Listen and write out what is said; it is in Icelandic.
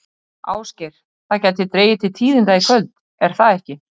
Ásgeir, það gæti dregið til tíðinda í kvöld, er það ekki?